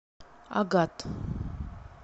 агат